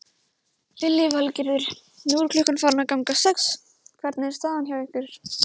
Lillý Valgerður: Nú er klukkan farin að ganga sex, hvernig er staðan hjá ykkur?